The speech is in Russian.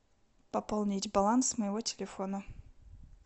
пополнить баланс моего телефона